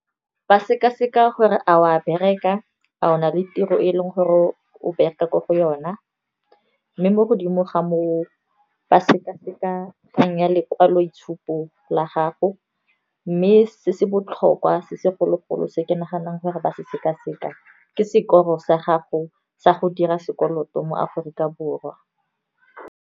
Ba seka-seka gore a wa bereka a o na le tiro e e leng gore o bereka ko go yona. Mme mo godimo ga moo ba sekaseka kgang ya lekwaloitshupo la gago, mme se se botlhokwa se segologolo se ke naganang gore ba se seka-seka, ke sekolo sa gago sa go dira sekoloto mo Aforika Borwa.